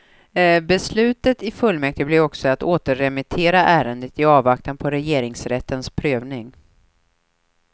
Beslutet i fullmäktige blev också att återremittera ärendet i avvaktan på regeringsrättens prövning.